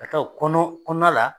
Ka taa o kɔnɔ kɔnɔna la